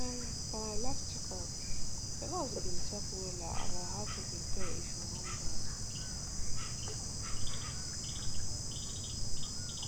um for my last check up the nurse bin talk wella about how to prepare if you wan born